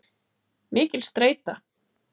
Mikil streita.